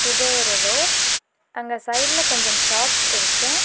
இது ஒரு ரோடு . அங்க சைடுல கொஞ்சம் ஷாப்ஸ் இருக்கு.